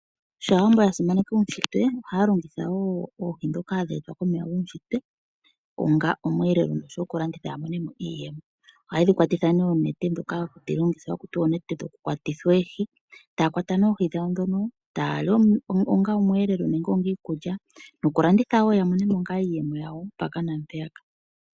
Sho Aawambo ya simaneka uunshitwe ohaya longitha wo oohi ndhoka hadhi etwa komeya guunshitwe onga omweelelo noshowo okulanditha ya mone mo iiyemo. Ohaye dhi kwatitha oonete ndhoka hadhi longithwa haku tiwa oonete dhokukwata oohi, taya kwata oohi dhawo taya li onga omweelelo nenge onga iikulya nokulanditha wo ya mone mo iiyemo yawo mpaka naampeyaka.